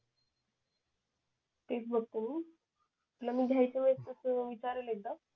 तेच बघतो मी तुला घ्यायच्या वेळेस तस विचारेल एकदा